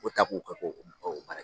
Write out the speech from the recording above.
U ta ko kɛ ko baaraji.